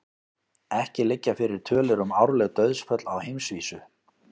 Ekki liggja fyrir tölur um árleg dauðsföll á heimsvísu.